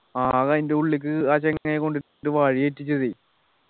ആകെ അതിൻ്റെ ഉള്ളിക്ക് ആ ചങ്ങായി കൊണ്ട് വഴി തെറ്റിച്ചതെ